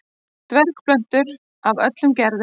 Dvergplöntur af öllum gerðum.